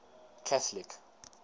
catholic